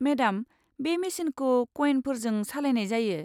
Madam, बे मेसिनखौ कयेनफोरजों सालायनाय जायो।